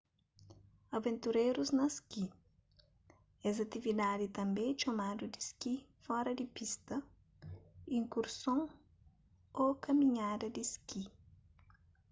aventurérus na ski es atividadi tanbê é txomadu di ski fora di pista iskurson ô kaminhada di ski